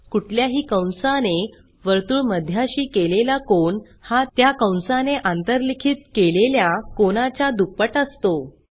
कुठल्याही कंसाने वर्तुळमध्याशी केलेला कोन हा त्या कंसाने आंतरलिखित केलेल्या कोनाच्या दुप्पट असतो